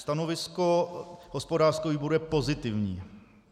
Stanovisko hospodářského výboru je pozitivní.